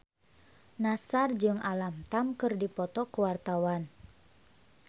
Nassar jeung Alam Tam keur dipoto ku wartawan